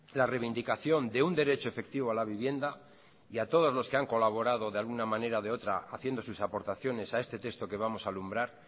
la reivindicación de un derecho efectivo a la vivienda y a todos los que han colaborado de alguna manera o de otra haciendo sus aportaciones a este texto que vamos a alumbrar